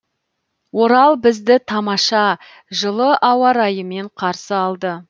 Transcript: орал бізді тамаша жылы ауа райымен қарсы алды